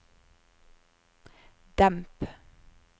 demp